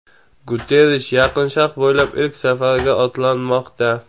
Guterrish Yaqin Sharq bo‘ylab ilk safariga otlanmoqda.